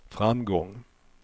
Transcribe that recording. framgång